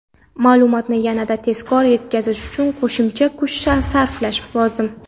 Ma’lumotni yanada tezkor yetkazish uchun qo‘shimcha kuch sarflash lozim.